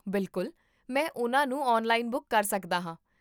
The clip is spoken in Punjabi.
ਬਿਲਕੁਲ, ਮੈਂ ਉਹਨਾਂ ਨੂੰ ਔਨਲਾਈਨ ਬੁੱਕ ਕਰ ਸਕਦਾ ਹਾਂ